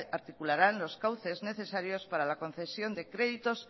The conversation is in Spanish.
articularán los cauces necesarios para la concesión de créditos